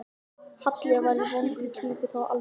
Halli var í vondri klípu, það var alveg á hreinu.